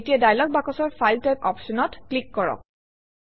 এতিয়া ডায়লগ বাকচৰ file type অপশ্যনত ক্লিক কৰক